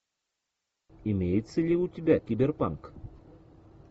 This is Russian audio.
имеется ли у тебя киберпанк